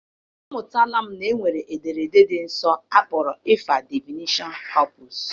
Amụtara m na e nwere ederede dị nsọ akpọrọ ịfa Divineshọn kọpụs.